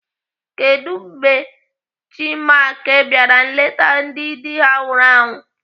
Kedụ mgbe Chinmark bịara nleta ndị dị ha nwụrụ anwụ?